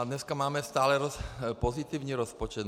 A dneska máme stále pozitivní rozpočet.